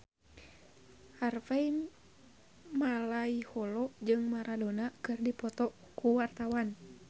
Harvey Malaiholo jeung Maradona keur dipoto ku wartawan